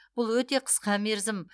бұл өте қысқа мерзім